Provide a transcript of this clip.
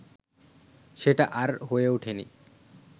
সেটি আর হয়ে ওঠেনি